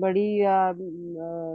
ਬੜੀ ਆ ਅਮ